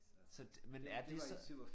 Så men er det så